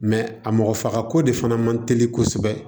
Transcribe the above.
a mɔgɔ fagako de fana man teli kosɛbɛ